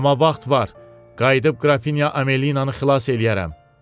Amma vaxt var, qayıdıb qrafinya Amelinanı xilas eləyərəm.